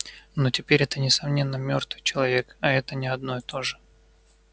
но теперь это несомненно мёртвый человек а это не одно и то же